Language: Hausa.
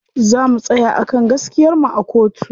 Za mu tsaya a kan gaskiyar mu a kotu.